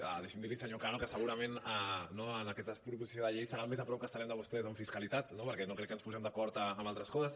deixi’m dir li senyor cano que segurament no en aquesta proposició de llei serà el més a prop que estarem de vostès en fiscalitat no perquè no crec que ens posem d’acord en altres coses